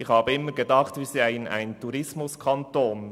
Ich habe immer gedacht, wir seien ein Tourismus-Kanton.